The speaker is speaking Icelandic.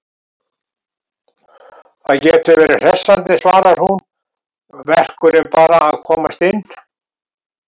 Það getur verið hressandi, svarar hún, verkurinn bara að komast inn.